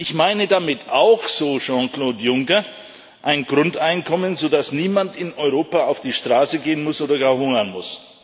Ich meine damit auch, so Jean Claude Juncker, ein Grundeinkommen, sodass niemand in Europa auf die Straße gehen muss oder gar hungern muss.